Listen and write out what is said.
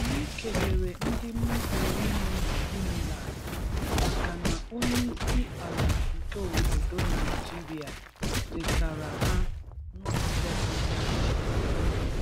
Anyị kelere ndị Muslim nọ na UNILAG makana onyeịsị ala nke obodo Naịjịrịa chetara ha n' ụzọ pụrụ iche.